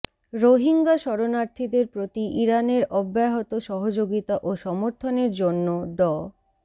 রোহিঙ্গা শরণার্থীদের প্রতি ইরানের অব্যাহত সহযোগিতা ও সমর্থনের জন্য ড